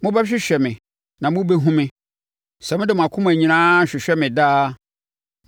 Mobɛhwehwɛ me na mobɛhunu me, sɛ mode mo akoma nyinaa hwehwɛ me dea.